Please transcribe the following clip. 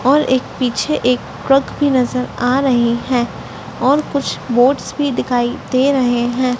और एक पीछे एक क्रुक भी नज़र आ रही हैं और कुछ बोर्ड्स भी दिखाई दे रहे हैं।